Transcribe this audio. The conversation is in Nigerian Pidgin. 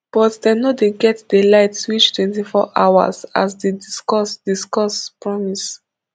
but dem no dey get di light reach twenty hours as di discos discos promise